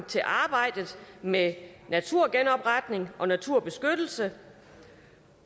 til arbejdet med naturgenopretning og naturbeskyttelse